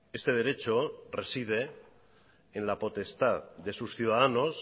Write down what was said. este derecho reside en la potestad de sus ciudadanos